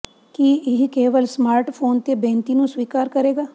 ਕੀ ਇਹ ਕੇਵਲ ਸਮਾਰਟਫੋਨ ਤੇ ਬੇਨਤੀ ਨੂੰ ਸਵੀਕਾਰ ਕਰੇਗਾ